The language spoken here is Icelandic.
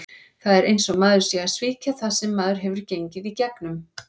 Það er eins og maður sé að svíkja það sem maður hefur gengið í gegnum.